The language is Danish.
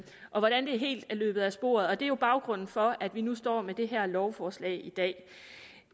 og hvordan det helt er løbet af sporet og det er jo baggrunden for at vi nu står med det her lovforslag i dag